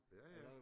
Ja ja